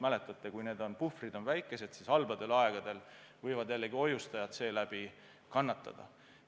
Mäletate ju: kui puhvrid on väikesed, siis halbadel aegadel võivad hoiustajad seeläbi kannatada.